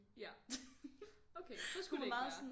Ja okay så skulle det ikke være